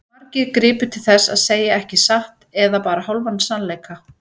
Margir gripu til þess að segja ekki satt eða bara hálfan sannleika.